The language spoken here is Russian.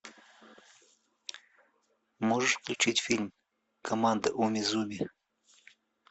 можешь включить фильм команда умизуми